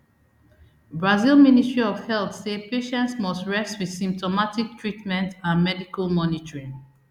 brazil ministry of health say patients must rest wit symptomatic treatment and medical monitoring